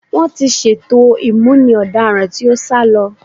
Wọ́n ti ṣètò ìmúni ọ̀daràn tí ó sá lọ.